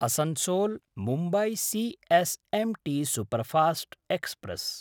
असन्सोल्–मुम्बई C S M T superfast express